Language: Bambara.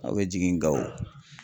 Aw bɛ jigin Gawo